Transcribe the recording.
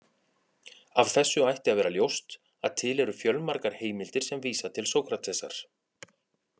Af þessu ætti að vera ljóst að til eru fjölmargar heimildir sem vísa til Sókratesar.